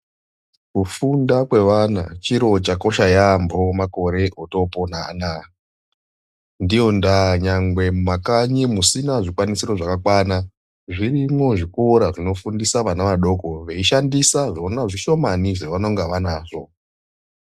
Kufunda kwevana chiro chakosha yambo makore otopona anaya ndiyo ndaa mumakanyi musina zvikwanisoro zvakakwana zvirimwo zvikora zvinofundisa vana adoko veishandisa zvona zvishomani zvavanonga vanazvo.